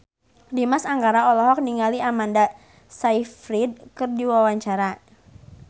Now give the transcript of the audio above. Dimas Anggara olohok ningali Amanda Sayfried keur diwawancara